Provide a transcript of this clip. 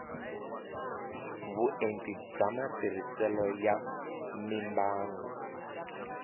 vuenti bya matirhiselo ya mimbangu